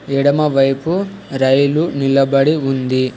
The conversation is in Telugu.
ఎడమవైపు రైలు నిలబడి ఉంది.